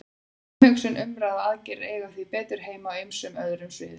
Umhugsun, umræða og aðgerðir eiga því betur heima á ýmsum öðrum sviðum.